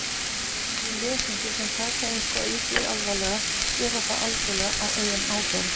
Lesendur sem taka eitthvað í því alvarlega gera það algjörlega á eigin ábyrgð.